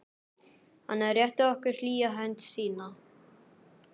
Hann rétti okkur hlýja hönd sína.